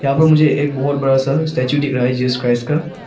मुझे एक बहुत बड़ा सा स्टैचू दिख रहा है जीसस क्राइस्ट का।